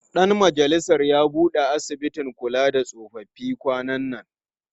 Ɗan majalisar ya buɗe asibitin kula da tsofaffi kwanan nan.